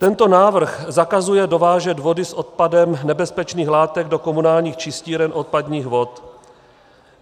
Tento návrh zakazuje dovážet vody s odpadem nebezpečných látek do komunálních čistíren odpadních vod.